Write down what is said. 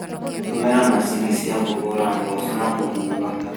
Tũmĩra macini cia kũhũra mboco na kũhuha.